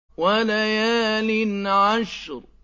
وَلَيَالٍ عَشْرٍ